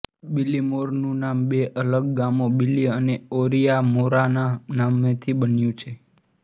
બીલીમોરાનું નામ બે અલગ ગામો બીલી અને ઓરિઆમોરાનાં નામોથી બન્યું છે